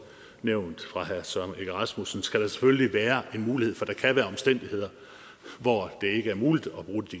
nævnt af herre søren egge rasmussen skal det selvfølgelig være en mulighed for der kan være omstændigheder hvor det ikke er muligt